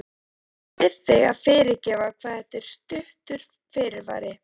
Ég bið þig að fyrirgefa hvað þetta er stuttur fyrirvari.